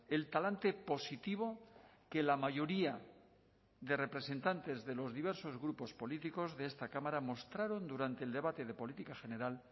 el talante positivo que la mayoría de representantes de los diversos grupos políticos de esta cámara mostraron durante el debate de política general